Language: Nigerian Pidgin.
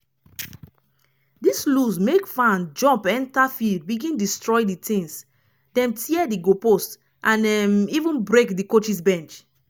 dis lose make fan jump enta field begin destroy di tins dem tear di goal post and um even break di coaches bench.